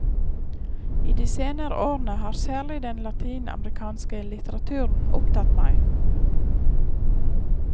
I de senere årene har særlig den latinamerikanske litteraturen opptatt meg.